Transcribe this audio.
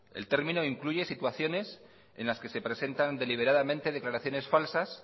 el término incluye situaciones en la que se presentan deliberadamente declaraciones falsas